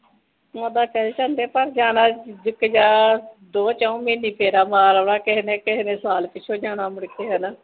ਓਹਦਾ tension ਤੇ ਪਰ ਜਾਣਾ ਜਿਥੇ ਜਾਓ ਦੋ ਚਾਓ ਮਹੀਨੇ ਫੇਰਾ ਮਾਰ ਆਣਾ ਕਿਸੇਨੇ ਸਾਲ ਪਿਛੋ ਜਾਣਾ ਅਮਰੀਕੇ ਹੈਨਾ